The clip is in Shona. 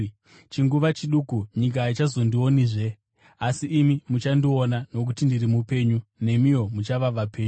Chinguva chiduku nyika haichazondionizve, asi imi muchandiona. Nokuti ndiri mupenyu, nemiwo muchava vapenyu.